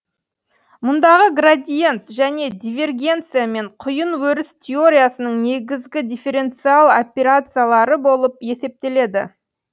мұндағы градиент және дивергенция мен құйын өріс теориясының негізгі дифференциал операциялары болып есептеледі